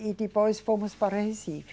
E depois fomos para Recife.